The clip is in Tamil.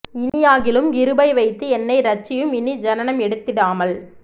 இனியாகிலும் கிருபை வைத்து என்னை ரட்சியும் இனி ஜனனம் எடுத்திடாமல்